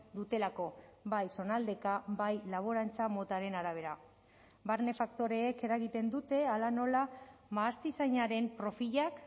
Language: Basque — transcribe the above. dutelako bai zonaldeka bai laborantza motaren arabera barne faktoreek eragiten dute hala nola mahastizainaren profilak